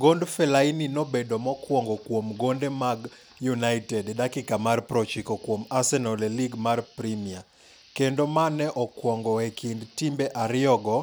Gond Fellaini nobedo mokwongo kuom gonde mag United e dakika mar 90 kuom Arsenal e Lig mar Premia, kendo mane okwongo e kind timbe ariyogo